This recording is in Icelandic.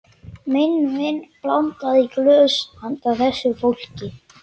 Minn vin blandaði í glös handa þessu fólki.